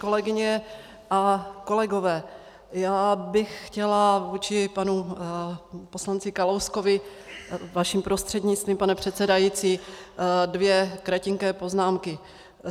Kolegyně a kolegové, já bych chtěla vůči panu poslanci Kalouskovi, vaším prostřednictvím, pane předsedající, dvě kratinké poznámky.